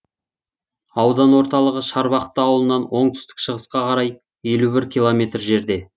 аудан орталығы шарбақты ауылынан оңтүстік шығысқа қарай елу бір километр жерде